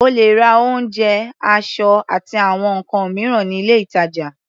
O lè ra oúnjẹ, aṣọ, àti àwọn nǹkan mìíràn ní ilé-ìtàjà.